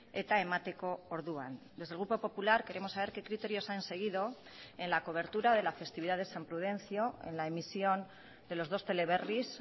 eta emateko orduan desde el grupo popular queremos saber qué criterios han seguido en la cobertura de la festividad de san prudencio en la emisión de los dos teleberris